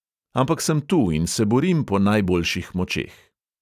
Ampak sem tu in se borim po najboljših močeh.